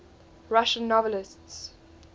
russian novelists